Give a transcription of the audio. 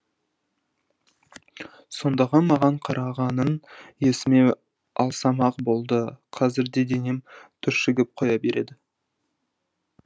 сондағы маған қарағанын есіме алсам ақ болды қазір де денем түршігіп қоя береді